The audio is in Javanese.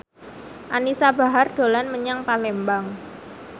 Anisa Bahar dolan menyang Palembang